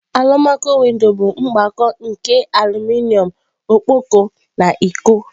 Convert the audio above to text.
Alumaco-windo bụ mgbakọ nke aluminom ọkpọkọ na iko.